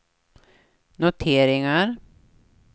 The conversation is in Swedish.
noteringar